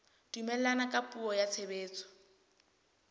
dumellana ka puo ya tshebetso